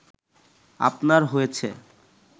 আপনার হয়েছে